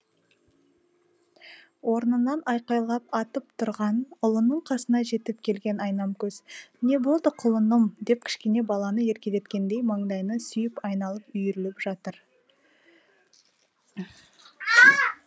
орнынан айқайлап атып тұрған ұлының қасына жетіп келген айнамкөз не болды құлыным деп кішкене баланы еркелеткендей маңдайынан сүйіп айналып үйіріліп жатыр